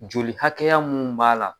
Joli hakɛya mun b'a la